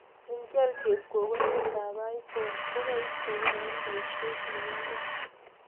Ngial chepkokoniet ap Iphone ko kaistegei eng paisiet inyegei